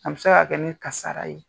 An bɛ se ka kɛ n kasara ye